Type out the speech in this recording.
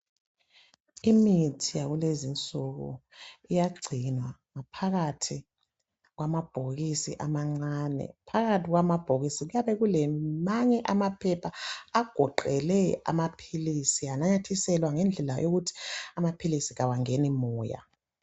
Imithi yakulezi insuku iyagcinwa ngaphakathi kwamabhokisi amancane. Phakathi kwamabhokisi kuyabe kulamanye amaphepha agoqele amaphilisi ananyathiselwa ukuthi amaphilisi kawangeni moya